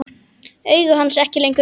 Augu hans ekki lengur rauð.